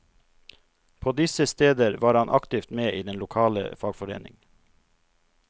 På disse steder var han aktivt med i den lokale fagforening.